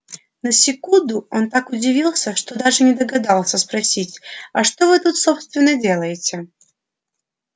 на секунду он так удивился что даже не догадался спросить а что вы тут собственно делаете